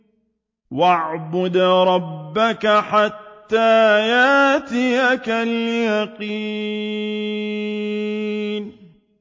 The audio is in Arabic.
وَاعْبُدْ رَبَّكَ حَتَّىٰ يَأْتِيَكَ الْيَقِينُ